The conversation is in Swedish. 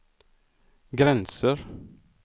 gränser